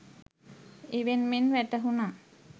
ඉවෙන් මෙන් වැටහුනා.